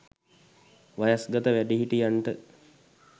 වයස්ගත වැඩිහිටියන්ට